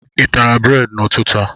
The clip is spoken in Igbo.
I tara bredị n'ụtụtụ a?